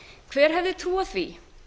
hver hefði trúað því